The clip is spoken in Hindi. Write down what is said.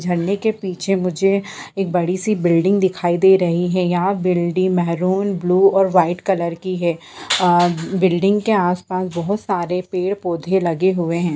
झंडे के पीछे मुझे एक बड़ी सी बिल्डिंग दिखाई दे रही है यह बिल्डिंग मैरून ब्लू और व्हाइट कलर की है अ बिल्डिंग के आसपास बहुत सारे पेड़-पौधे लगे हुए हैं।